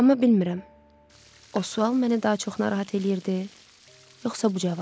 Amma bilmirəm, o sual məni daha çox narahat eləyirdi, yoxsa bu cavab.